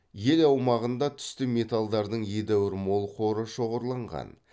ел аумағында түсті металдардың едәуір мол қоры шоғырланған